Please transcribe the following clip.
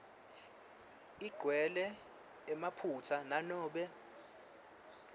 igcwele emaphutsa nanobe